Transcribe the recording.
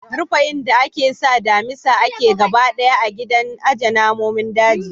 Rufe inda ake sa damisa ake gaba ɗaya a gidan ajiye namonin daji.